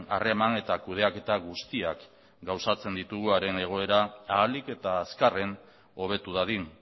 harreman eta kudeaketa guztiak gauzatzen ditugu haren egoera ahalik eta azkarren hobetu dadin